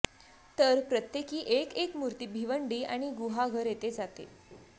तर प्रत्येकी एक एक मूर्ती भिवंडी आणि गुहागर येथे जाते